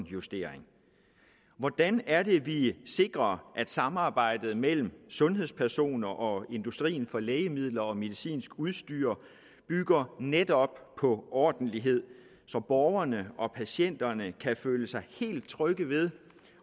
justering hvordan er det vi sikrer at samarbejdet mellem sundhedspersoner og industrien for lægemidler og medicinsk udstyr bygger netop på ordentlighed så borgerne og patienterne kan føle sig helt trygge ved